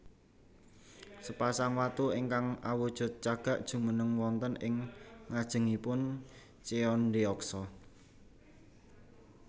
Sepasang watu ingkang awujud cagak jumeneng wonten ing ngajengipun Cheondeoksa